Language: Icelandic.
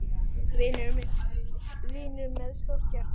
Vinur með stórt hjarta.